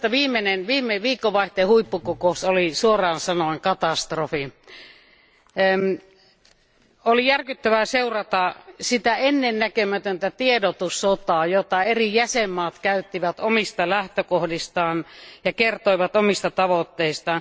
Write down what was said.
Minusta viime viikonvaihteen huippukokous oli suoraan sanoen katastrofi. Oli järkyttävää seurata sitä ennen näkemätöntä tiedotussotaa, jota eri jäsenvaltiot kävivät omista lähtökohdistaan ja jossa ne kertoivat omista tavoitteistaan.